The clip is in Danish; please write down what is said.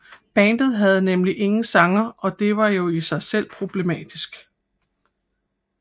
Bandet havde nemlig ingen sanger og det var jo i sig selv problematisk